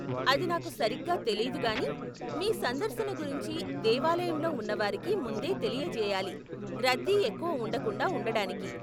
అది నాకు సరిగ్గా తెలీదు కానీ మీ సందర్శన గురించి దేవాలయంలో ఉన్నవారికి ముందే తెలియచేయాలి, రద్దీ ఎక్కువ ఉండకుండా ఉండడానికి.